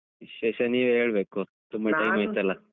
ವಿಶೇಷ ನೀವೆ ಹೇಳ್ಬೇಕು ತುಂಬ time ಆಯ್ತಲ್ಲ.